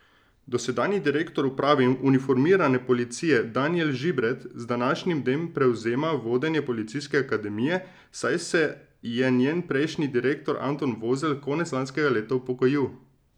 Dosedanji direktor uprave uniformirane policije Danijel Žibret z današnjim dnem prevzema vodenje Policijske akademije, saj se je njen prejšnji direktor Anton Vozelj konec lanskega leta upokojil.